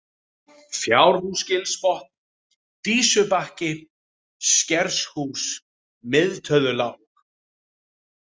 Fjárhúsgilsbotn, Dísubakki, Skershús, Mið-Töðulág